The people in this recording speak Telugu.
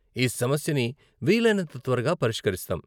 ఈ సమస్యని వీలైనంత త్వరగా పరిష్కరిస్తాం.